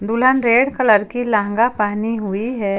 दुल्हन red colour की लहंगा पहनी हुई है।